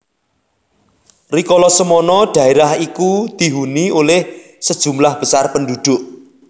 Rikolo semono daerah iku dihuni oleh sejumlah besar penduduk